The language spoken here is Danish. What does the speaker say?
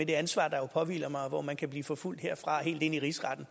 det ansvar der jo påhviler mig og hvor man kan blive forfulgt herfra og helt ind i rigsretten